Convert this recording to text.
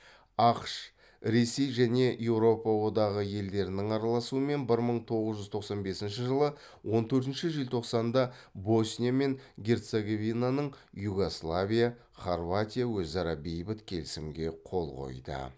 ақш ресей және еуропа одағы елдерінің араласуымен бір мың тоғыз жүз тоқсан бесінші жылы он төртінші желтоқсанда босния мен герцеговинаның югославия хорватия өзара бейбіт келісімге қол қойды